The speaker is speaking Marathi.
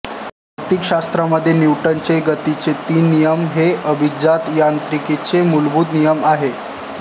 भौतिकशास्त्रामधे न्यूटनचे गतीचे तीन नियम हे अभिजात यांत्रिकीचे मूलभूत नियम आहेत